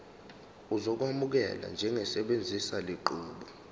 uzokwamukelwa njengosebenzisa lenqubo